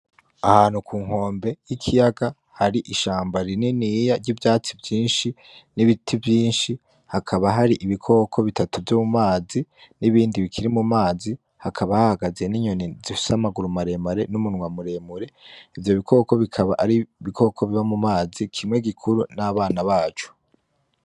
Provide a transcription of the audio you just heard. Ahantu ku nkombe y'ikiyaga hari ishamba rininiya ry'ivyatsi vyinshi n'ibiti vyinshi, hakaba hari ibikoko bitatu vyo mumazi n'ibindi bikiri mumazi , hakaba hahagaze ninyoni zifise amaguru maremare n'umunwa muremure, ivyo bikoko bikaba ari ibikoko biba mumazi , kimwe gikuru n'abana baco.